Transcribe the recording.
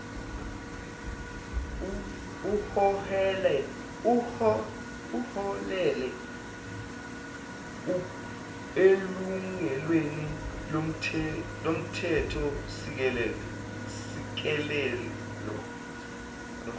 uholele elungelweni lomthethosisekelo